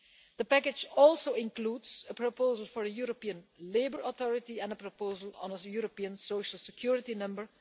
The Package also includes a proposal for a European Labour Authority and a proposal for a European Social Security Number.